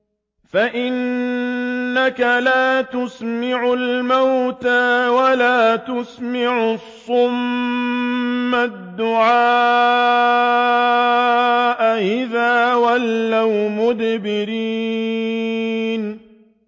فَإِنَّكَ لَا تُسْمِعُ الْمَوْتَىٰ وَلَا تُسْمِعُ الصُّمَّ الدُّعَاءَ إِذَا وَلَّوْا مُدْبِرِينَ